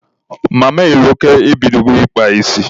Mama Eloka e bidogo ịkpa isi.